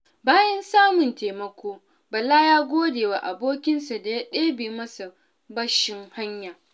Bayan samun taimako, Bala ya gode wa abokinsa da ya ɗebe masa bashin haya.